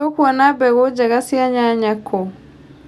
Tũkuona mbegũ njega cia nyanya kũ.